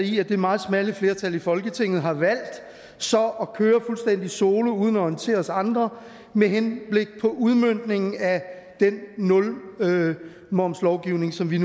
i at det meget smalle flertal i folketinget har valgt så at køre fuldstændig solo uden at orientere os andre med henblik på udmøntningen af den nulmomslovgivning som vi